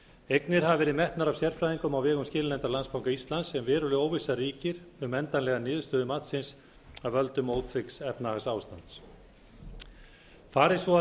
eignir hafa verið metnar af sérfræðingum á vegum skilanefndar landsbanka íslands h f en veruleg óvissa ríkir um endanlega niðurstöðu matsins af völdum ótryggs efnahagsástands fari svo að